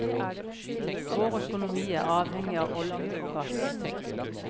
Vår økonomi er avhengig av olje og gass.